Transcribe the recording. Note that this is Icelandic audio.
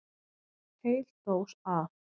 Heil dós af